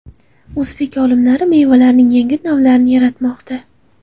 O‘zbek olimlari mevalarning yangi navlarini yaratmoqda.